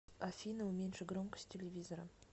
афина уменьши громкость телевизора